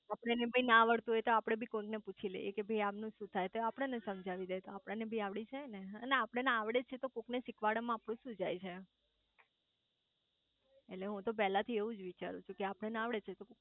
આપણે બી ના આવતું હોય તો આપડે બી કોઈ ને પૂછી લઈએ કે ભાઈ આમનું શુ થાય તો આપણ ને સમજાઈ દે તો આપણે બી આવડી જાય ને અને આપણ ને આવડે છે તો કોક ને શીખવાડવામાં આપણું શુ જાય એટલે હું તો પેલે થી એવુજ વિચારું છુ કે આપણ ને આવડે હે તો